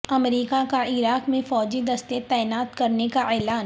امریکہ کا عراق میں فوجی دستے تعینات کرنےکا اعلان